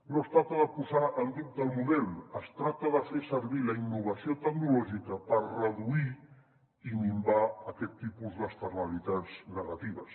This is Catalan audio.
no es tracta de posar en dubte el model es tracta de fer servir la innovació tecnològica per reduir i minvar aquest tipus d’externalitats negatives